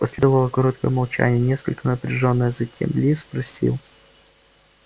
последовало короткое молчание несколько напряжённое затем ли спросил